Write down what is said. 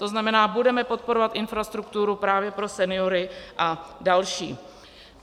To znamená, budeme podporovat infrastrukturu právě pro seniory a další.